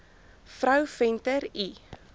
vrou venter l